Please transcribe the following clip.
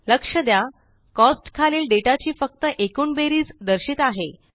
लक्ष द्या कोस्ट्स खालील डेटा ची फक्त एकूण बेरीज दर्शित आहे